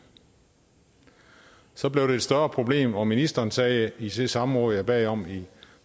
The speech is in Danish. så blev det et større problem og ministeren sagde i det samråd jeg bad om i